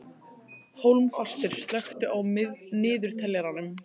Hólmfastur, slökktu á niðurteljaranum.